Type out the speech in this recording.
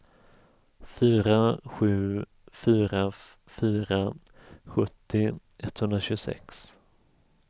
fyra sju fyra fyra sjuttio etthundratjugosex